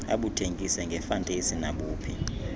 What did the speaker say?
abuthengise ngefantesi nabuphi